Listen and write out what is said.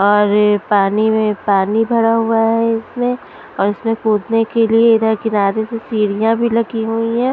और पानी में पानी भरा हुआ हैं इसमें और इसमें कूदने के लिए इधर किनारे से सीढ़ियाँ भी लगी हुई हैं ।